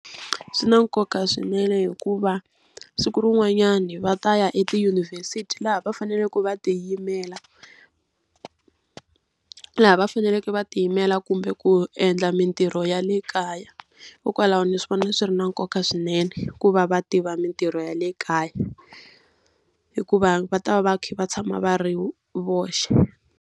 Swi na nkoka swinene hikuva siku rin'wanyani va ta ya etiyunivhesiti laha va faneleke va tiyimela laha va faneleke va tiyimela kumbe ku ku endla mintirho ya le kaya. Hikokwalaho ni swi vona swi ri na nkoka swinene ku va va tiva mintirho ya le kaya, hikuva va ta va va kha va tshama va ri voxe.